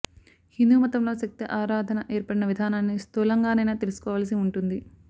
హిందూ మతంలో శక్తి ఆరాధన ఏర్పడిన విధానాన్ని స్థూలంగానైనా తెలుసుకోవలసి ఉంటుంది